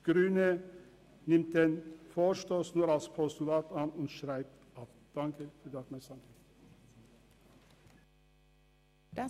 Die grüne Fraktion nimmt den Vorstoss nur als Postulat an und schreibt ihn ab.